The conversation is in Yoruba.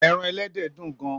Èràn èlèdè dún gàn